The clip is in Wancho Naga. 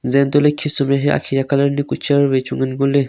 janto le khisum rehia akhi aa colour ni kuh chair wai chu ngan ngo le.